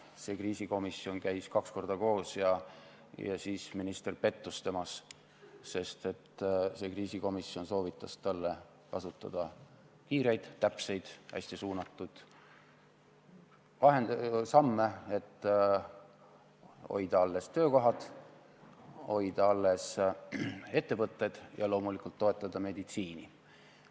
See kriisikomisjon käis kaks korda koos ja siis minister pettus temas, sest see komisjon soovitas talle kasutada kiireid, täpseid, hästi suunatud samme, et hoida alles töökohad, hoida alles ettevõtted ja loomulikult toetada meditsiini.